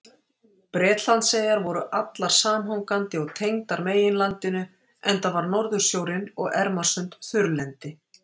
Bretlandseyjar voru allar samhangandi og tengdar meginlandinu enda var Norðursjórinn og Ermarsund þurrlendi.